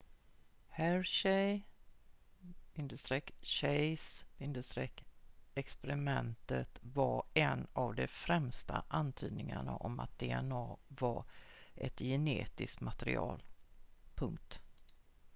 hershey-chase-experimentet var en av de främsta antydningarna om att dna var ett genetiskt material